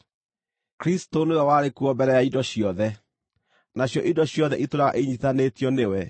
Kristũ nĩwe warĩ kuo mbere ya indo ciothe, nacio indo ciothe itũũraga inyiitithanĩtio nĩwe.